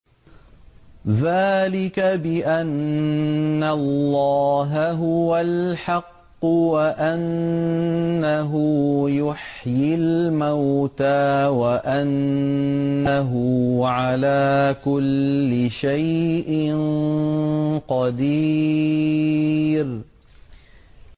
ذَٰلِكَ بِأَنَّ اللَّهَ هُوَ الْحَقُّ وَأَنَّهُ يُحْيِي الْمَوْتَىٰ وَأَنَّهُ عَلَىٰ كُلِّ شَيْءٍ قَدِيرٌ